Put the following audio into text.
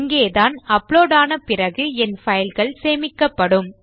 இங்கேதான் அப்லோட் ஆன பிறகு என் பைல்ஸ் சேமிக்கப்படும்